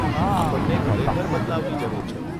આપણને ખરેખર બદલાવની જરૂર છે.